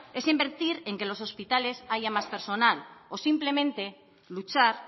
es invertir en que en los hospitales haya más personal o simplemente luchar